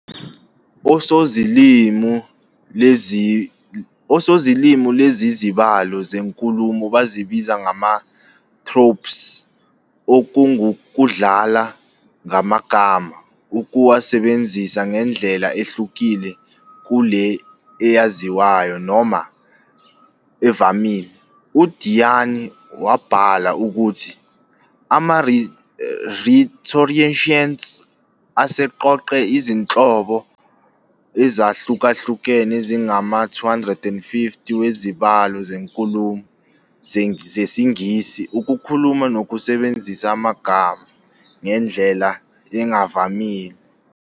Osozilimi, lezizibalo zenkulumo bazibiza ngama "tropes"-okungukudlala ngama gama, ukuwasebenzisa ngendlela ehlukile kule eyaziwayo noma evamile. U-DiYanni wabhala ukuthi- "Ama-rhetoricians aseqoqe izinhlobo ezahlukahlukene ezingama-250 "wezibalo zenkulumo, zesingisi," ukukhuluma nokusebenzisa amagama ngendlela engavamile".